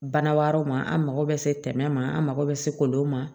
Bana wɛrɛw ma an mago bɛ se tɛmɛ ma an mako bɛ se kolonw ma